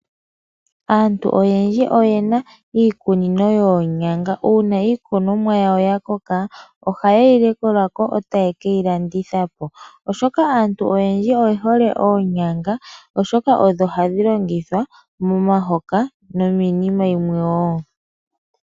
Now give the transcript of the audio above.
Aantu oyendji oyena iikunino yoonyanga. Uuna iikunomwa yawo yakoka ohayeyi likolako etaye keyi landithapo oshoka aantu oyendji oyehole oonyanga oshoka odho hadhi longithwa momahoka no miinima yimwe woo.